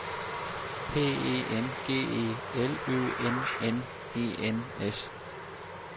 P E N G E L Ø N N E N S